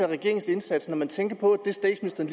af regeringens indsats når man tænker på at statsministeren